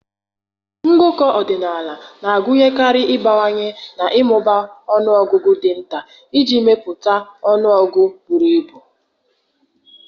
Ngụkọ ọdịnala na-agụnyekarị ịgbakwụnye na ịmụba ọnụ ọgụgụ dị nta iji mepụta ọnụọgụ buru ibu